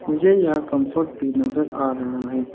मुझे यहां कंफर्ट भी नजर आ रहा है।